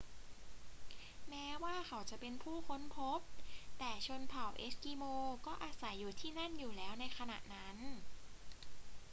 แม้ว่าเขาจะเป็นผู้ค้นพบ แต่ชนเผ่าเอสกิโมก็อาศัยอยู่ที่นั่นอยู่แล้วในขณะนั้น